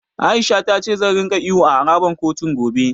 A'isha ta ce za ringa ihu a harabar kotun, gobe.